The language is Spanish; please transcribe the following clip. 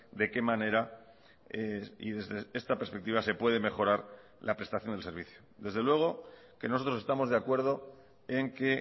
de qué manera y desde esta perspectiva se puede mejorar la prestación del servicio desde luego que nosotros estamos de acuerdo en que